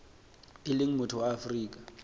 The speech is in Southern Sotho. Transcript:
e leng motho wa afrika